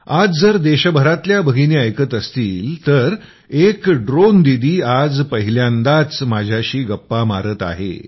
आज जर देशभरातल्या भगिनी ऐकत असतील तर एक ड्रोन दीदी आज पहिल्यांदाच माझ्याशी गप्पा मारत आहे